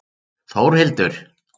Þórhildur